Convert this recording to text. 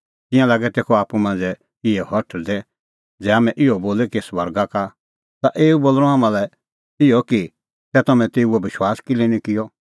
तिंयां लागै तेखअ आप्पू मांझ़ै इहै हठल़दै ज़ै हाम्हैं इहअ बोले कि स्वर्गा का तै एऊ बोल़णअ हाम्हां लै इहअ कि तै तम्हैं तेऊओ विश्वास किल्है निं किअ